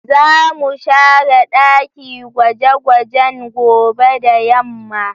Za mu share ɗaki gwaje gwajen gobe da yamma